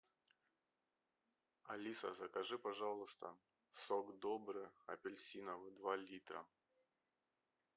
алиса закажи пожалуйста сок добрый апельсиновый два литра